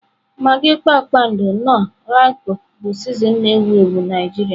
Magị Kpakpando, Knoọ, Roykọ bụ sịzịnin na-ewu ewu Najiria.